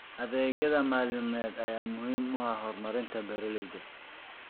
Adeegyada maaliyadeed ayaa muhiim u ah horumarinta beeralayda.